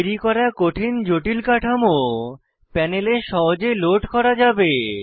তৈরি করা কঠিন জটিল কাঠামো প্যানেলে সহজে লোড করা যাবে